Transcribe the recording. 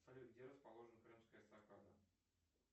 салют где расположена крымская эстакада